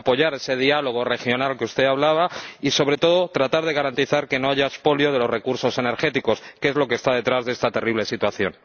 apoyar ese diálogo regional del que usted hablaba y, sobre todo, tratar de garantizar que no haya expolio de los recursos energéticos, que es lo que está detrás de esta terrible situación.